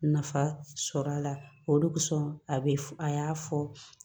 Nafa sɔrɔ a la olu sɔn a bɛ a y'a fɔ